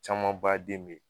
Camanbaa den be ye